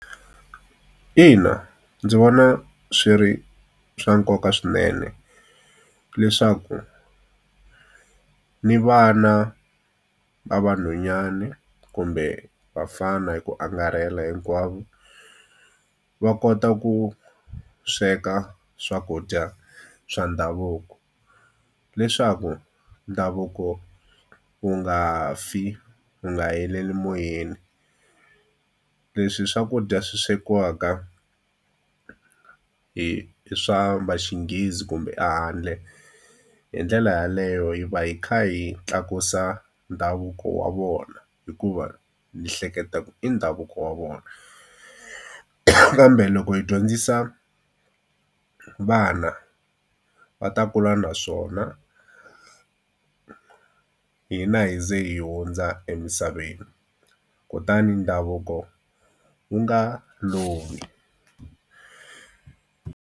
Ina ndzi vona swi ri swa nkoka swinene leswaku ni vana va vanhwanyani kumbe vafana hi ku angarhela hinkwavo va kota ku sweka swakudya swa ndhavuko leswaku ndhavuko wu nga fi wu nga heleli moyeni leswi swakudya swi swekiwaka hi swa vaxinghezi kumbe a handle hi ndlela yaleyo hi va hi kha hi tlakusa ndhavuko wa vona hikuva ni hleketaka i ndhavuko wa vona kambe loko hi dyondzisa vana va ta kula naswona hina hina hi za hi hundza emisaveni kutani ndhavuko wu nga lovi.